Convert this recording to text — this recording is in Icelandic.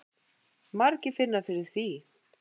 Margir finni fyrir því.